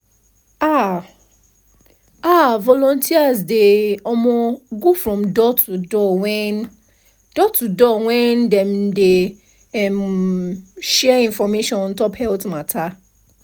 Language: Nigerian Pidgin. ah ah volunteers dey um go from door-to-door when door-to-door when dem dey um share information ontop health matter